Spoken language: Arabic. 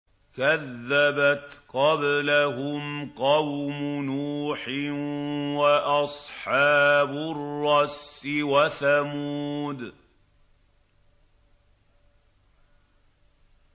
كَذَّبَتْ قَبْلَهُمْ قَوْمُ نُوحٍ وَأَصْحَابُ الرَّسِّ وَثَمُودُ